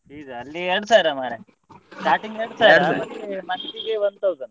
Fees ಆ ಅಲ್ಲಿ ಎರಡು ಸಾವಿರ ಮಾರೆ starting ಎರಡು ಸಾವಿರ ಮತ್ತೆ month ಗೆ one thousand .